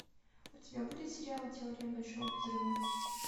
у тебя будет сериал теория большого взрыва